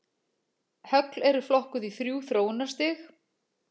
Högl eru flokkuð í þrjú þróunarstig.